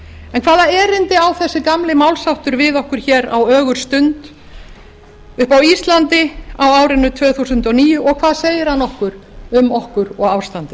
en hvaða erindi á þessi gamli málsháttur við okkur á ögurstund uppi á íslandi á árinu tvö þúsund og níu og hvað segir hann okkur um okkur og ástandið